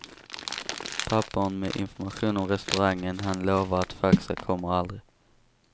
Papperen med information om restaurangen han lovar att faxa kommer aldrig.